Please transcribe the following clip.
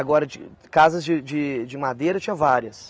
Agora, de casas de de de madeira tinha várias.